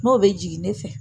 N'o bɛ jigin ne fɛ